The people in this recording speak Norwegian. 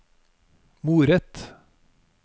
moret